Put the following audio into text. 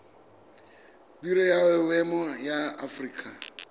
biro ya boemo ya aforika